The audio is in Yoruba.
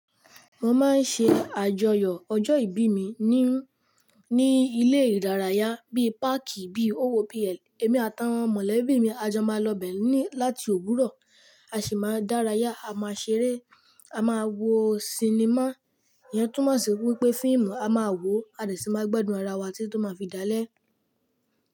Mo máa ń ṣe àjọyọ̀ ọjọ́ ìbí mi ní, ní ilé ìdárayá bíi páàkì, bíi owó bí i, èmi àtàwọn mọ̀lẹ́bí mi a jọ máa lọ bẹ́ẹ̀ ní láti òwúrọ̀, a sì máa dárayá, a máa ṣeré, a máa wo sinimá. Ìyẹn túmọ̀ sí wípé fíìmù a máa wò, a sì máa gbádùn ara wa tí tó máa fi dálé.